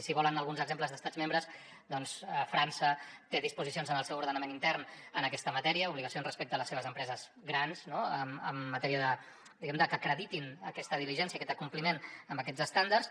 si volen alguns exemples d’estats membres doncs frança té disposicions en el seu ordenament intern en aquesta matèria obligacions respecte a les seves empreses grans no en matèria diguem ne de que acreditin aquesta diligència aquest compliment amb aquests estàndards